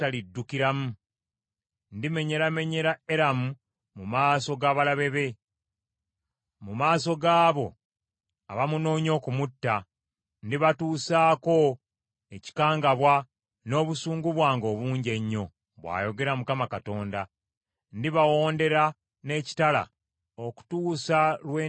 Ndimenyeramenyera Eramu mu maaso g’abalabe be, mu maaso gaabo abamunoonya okumutta; ndibatuusaako ekikangabwa, n’obusungu bwange obungi ennyo,” bw’ayogera Mukama Katonda. “Ndibawondera n’ekitala okutuusa lwe ndibamalirawo ddala.